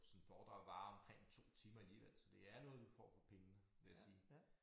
Sådan foredrag varer omkring 2 timer alligevel så det er noget du får for pengene vil jeg sige